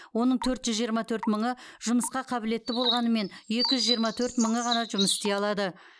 оның төрт жүз жиырма төрт мыңы жұмысқа қабілетті болғанымен екі жүз жиырма төрт мыңы ғана жұмыс істей алады